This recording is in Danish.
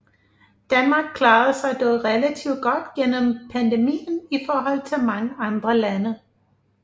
Danmark klarede sig dog relativt godt gennem pandemien i forhold til mange andre lande